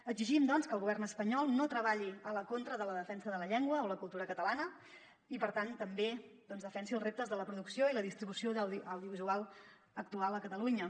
exigim doncs que el govern espanyol no treballi en contra de la defensa de la llengua o la cultura catalana i per tant també defensi els reptes de la producció i la distribució audiovisuals actuals a catalunya